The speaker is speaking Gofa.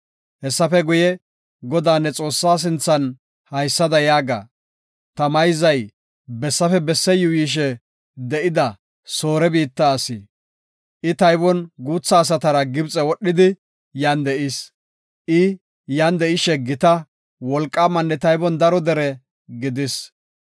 Hessafe guye, Godaa ne Xoossaa sinthan haysada yaaga; “Ta mayzay bessafe besse yuuyishe de7ida Soore biitta asi; I taybon guutha asatara Gibxe wodhidi yan de7is. I yan de7ishe gita, wolqaamanne taybon daro dere gidis.